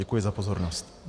Děkuji za pozornost.